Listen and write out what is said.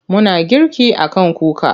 Muna girki a kan kuka.